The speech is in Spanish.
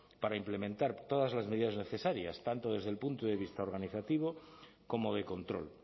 para implementar todas las medidas necesarias tanto desde el punto de vista organizativo como de control